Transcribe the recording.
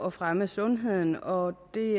at fremme sundheden og det